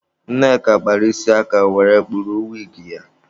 Nneka kpara isi aka were kpuru wigi ya.